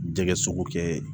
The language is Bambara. Jɛgɛ sogo kɛ